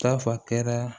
Tafan kɛra